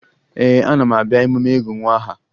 Ee, ana m abịa emume ịgụ nwa aha